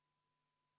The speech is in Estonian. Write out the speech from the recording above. Võetud vaheaeg on läbi.